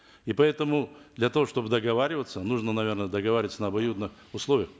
и поэтому для того чтобы договариваться нужно наверно договариваться на обоюдных условиях